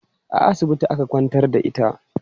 A asibiti aka kwantar da ita?